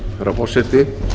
herra forseti